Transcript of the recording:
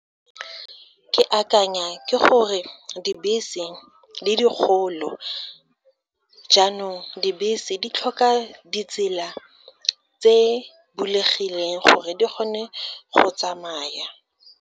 Ke akanya ke gore dibese di dikgolo jaanong dibese di tlhoka ditsela tse bulegileng, gore di kgone go tsamaya.